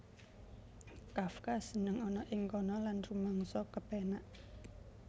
Kafka seneng ana ing kana lan rumangsa kepénak